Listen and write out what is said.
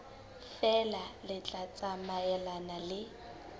feela le tla tsamaelana le